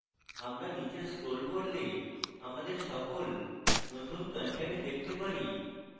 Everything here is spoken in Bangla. আমরা নীচে scroll করলে আমাদের সকল নতুন content দেখতে পারি